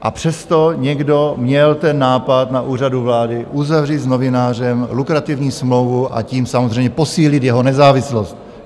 A přesto někdo měl ten nápad na Úřadu vlády uzavřít s novinářem lukrativní smlouvu, a tím samozřejmě posílit jeho nezávislost.